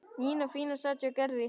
Nína fína sat hjá Gerði.